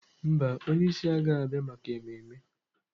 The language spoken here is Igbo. Mba, onye isi agaghị abịa maka ememme.